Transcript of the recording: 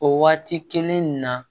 O waati kelen in na